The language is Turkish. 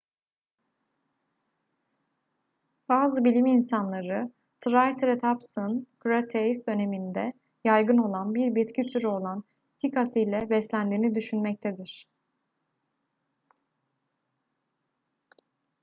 bazı bilim insanları triceratopsun kretase döneminde yaygın olan bir bitki türü olan sikas ile beslendiğini düşünmektedir